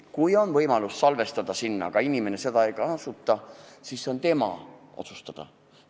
Kui inimesel on võimalus sinna salvestada, aga ta seda ei kasuta, siis on see tema otsustada.